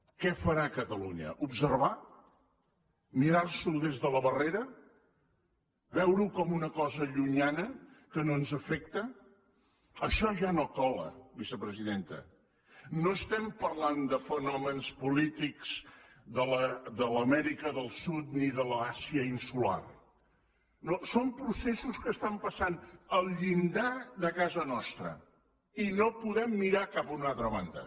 què farà catalunya observar mirar s’ho des de la barrera veure ho com una cosa llunyana que no ens afecta això ja no cola vicepresidenta no estem parlant de fenòmens polítics de l’amèrica del sud ni de l’àsia insular no són processos que estan passant al llindar de casa nostra i no podem mirar cap a una altra banda